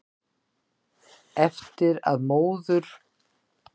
Eftir að móður